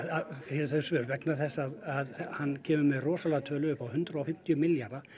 fyrir þau svör vegna þess að hann kemur með rosalega tölu uppá hundrað og fimmtíu milljarða